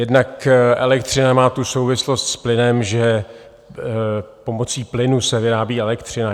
Jednak elektřina má tu souvislost s plynem, že pomocí plynu se vyrábí elektřina.